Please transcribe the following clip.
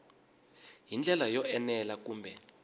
hi ndlela yo enela kambe